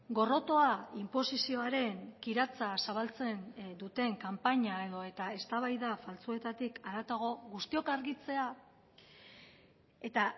gorrotoa inposizioaren kiratsa zabaltzen duten kanpaina edota eztabaida faltsuetatik haratago guztiok argitzea eta